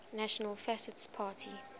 national fascist party